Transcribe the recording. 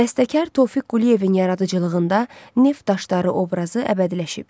Bəstəkar Tofiq Quliyevin yaradıcılığında Neft daşları obrazı əbədiləşib.